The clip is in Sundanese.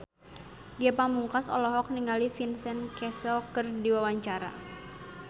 Ge Pamungkas olohok ningali Vincent Cassel keur diwawancara